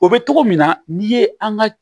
O bɛ cogo min na n'i ye an ka